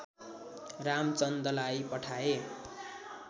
रामचन्दलाई पठाए